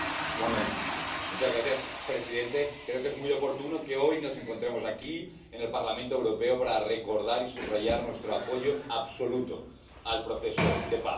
Señor presidente, creo que es muy oportuno que hoy nos encontremos aquí, en el Parlamento Europeo, para recordar y subrayar nuestro apoyo absoluto al proceso de paz.